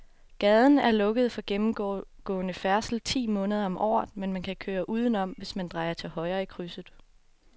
Gaden er lukket for gennemgående færdsel ti måneder om året, men man kan køre udenom, hvis man drejer til højre i krydset.